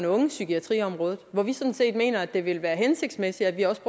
ungepsykiatriområdet hvor vi sådan set mener at det vil være hensigtsmæssigt at vi også